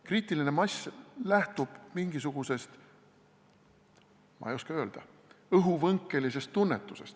Kriitiline mass lähtub mingisugusest, ma ei oska öelda, õhuvõnkelisest tunnetusest.